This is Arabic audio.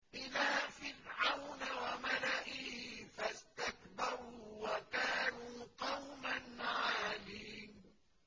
إِلَىٰ فِرْعَوْنَ وَمَلَئِهِ فَاسْتَكْبَرُوا وَكَانُوا قَوْمًا عَالِينَ